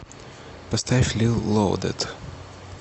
поставь лил лоадед